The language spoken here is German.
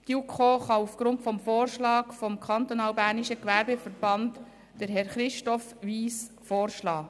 Die JuKo kann aufgrund des Vorschlags des Kantonal-Bernischen Gewerbeverbands Herrn Christoph Wyss vorschlagen.